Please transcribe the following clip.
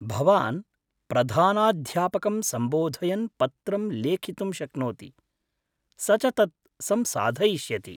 भवान् प्रधानाध्यापकं सम्बोधयन् पत्रं लेखितुं शक्नोति, स च तत् संसाधयिष्यति।